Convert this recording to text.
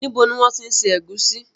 Níbo ni wọn ti ń ṣe ẹ̀gúsí